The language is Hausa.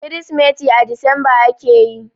Kirsimeti a Disamba ake yi.